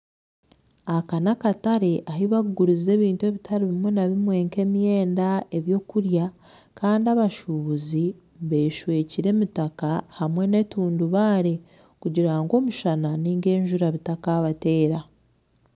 Aka nakatare ahu bakuguriza ebintu ebitaribimwe na bimwe nk'emyenda ebyokurya Kandi abashubuzi beshwekire emitaka hamwe nentundubare kugira ngu omushana ninga enjura gutakabateera .